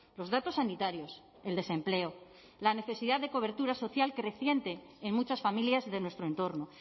los datos sanitarios el desempleo la necesidad de cobertura social creciente en muchas familias de nuestro entorno